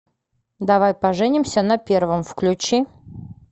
давай поженимся на первом включи